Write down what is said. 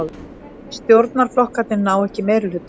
Stjórnarflokkarnir ná ekki meirihluta